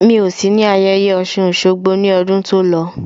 Mi ò sí ní ayẹyẹ Ọ̀ṣun Òṣogbo ní ọdún tó lọ